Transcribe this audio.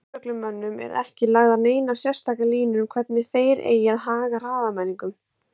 Lögreglumönnum eru ekki lagðar neinar sérstakar línur um hvernig þeir eigi að haga hraðamælingum.